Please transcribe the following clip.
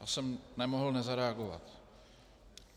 Já jsem nemohl nezareagovat.